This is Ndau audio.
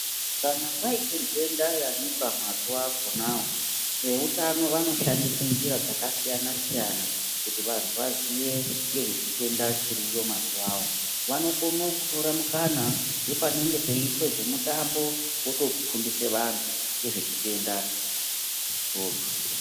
Kana paita nhenda yamuka mazuva akona woo veutano vanoshandise njira dzakasiyana siyana kuti vantu vaziye ngezvechitenda chiriyo mazuva woo vanokone kutore mukana wepanenge peitwe zvemutambo votofundise vantu ngezvechitenda ichocho.